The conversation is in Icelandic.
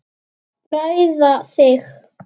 Bræða þig.